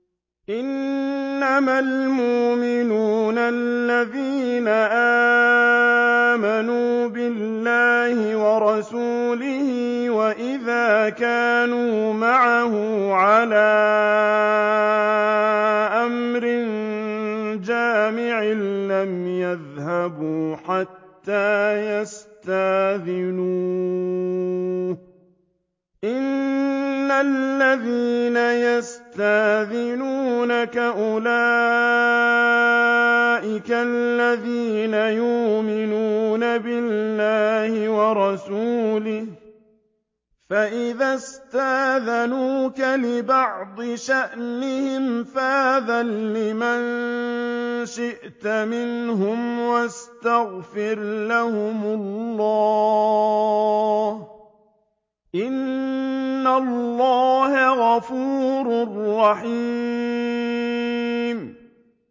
إِنَّمَا الْمُؤْمِنُونَ الَّذِينَ آمَنُوا بِاللَّهِ وَرَسُولِهِ وَإِذَا كَانُوا مَعَهُ عَلَىٰ أَمْرٍ جَامِعٍ لَّمْ يَذْهَبُوا حَتَّىٰ يَسْتَأْذِنُوهُ ۚ إِنَّ الَّذِينَ يَسْتَأْذِنُونَكَ أُولَٰئِكَ الَّذِينَ يُؤْمِنُونَ بِاللَّهِ وَرَسُولِهِ ۚ فَإِذَا اسْتَأْذَنُوكَ لِبَعْضِ شَأْنِهِمْ فَأْذَن لِّمَن شِئْتَ مِنْهُمْ وَاسْتَغْفِرْ لَهُمُ اللَّهَ ۚ إِنَّ اللَّهَ غَفُورٌ رَّحِيمٌ